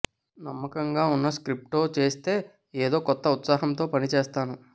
నమ్మకంగా ఉన్న స్క్రిప్ట్తో చేస్తే ఏదో కొత్త ఉత్సాహంతో పని చేస్తాను